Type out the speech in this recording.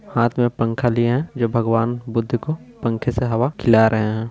हाथ में पंखा लिए जो भगवान बुद्ध को पंखे से हवा खिला रहे है।